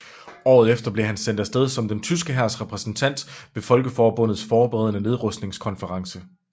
Året efter blev han sendt afsted som den tyske hærs repræsentant ved Folkeforbundets forberedende nedrustningskonference